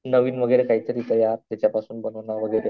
नवीन काहीतरी तयार त्याच्यापासून बनवणार वगैरे.